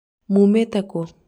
muũmĩte kũ?